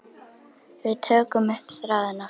Við tökum upp þráðinn aftur.